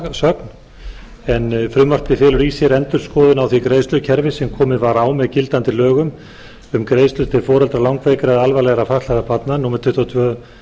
umsögn en frumvarpið felur í sér endurskoðun á því greiðslukerfi sem komið var á með gildandi lögum um greiðslur til foreldra langveikra eða alvarlega fatlaðra barna númer tuttugu og tvö